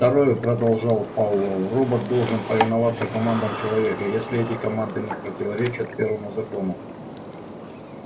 второе продолжал пауэлл робот должен повиноваться командам человека если эти команды не противоречат первому закону